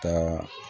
Ka